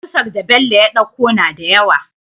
Kusar da Bello ya ɗauko nada yawa